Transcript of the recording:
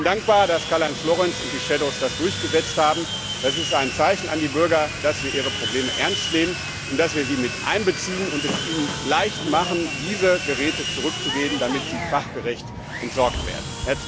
Ich bin dankbar, dass Karl Heinz Florenz und die Schattenberichterstatter das durchgesetzt haben. Das ist ein Zeichen an die Bürger, dass wir ihre Probleme ernst nehmen und dass wir sie mit einbeziehen und es ihnen leicht machen, diese Geräte zurückzugeben, damit sie fachgerecht entsorgt werden.